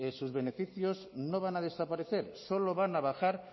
sus beneficios no van a desaparecer solo van a bajar